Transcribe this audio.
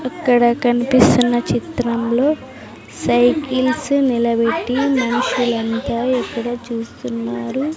ఇక్కడ కనిపిస్తున్న చిత్రంలో సైకిల్సు నిలబెట్టి మనుషులంతా ఎక్కడో చూస్తున్నారు.